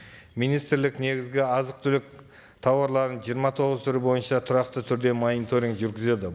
министрлік негізгі азық түлік тауарларын жиырма тоғыз түрі бойынша тұрақты түрде мониторниг жүргізеді